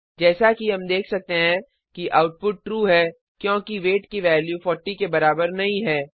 जैसा कि हम देख सकते हैं कि आउटपुट ट्रू है क्योंकि वेट की वैल्यू 40 के बराबर नहीं है